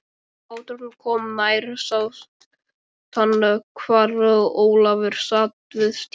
Þegar báturinn kom nær sást hvar Ólafur sat við stýrið.